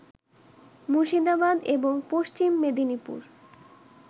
মুর্শিদাবাদ এবং পশ্চিম মেদিনীপুর